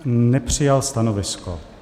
Nepřijal stanovisko.